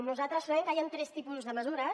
nosaltres trobem que hi han tres tipus de mesures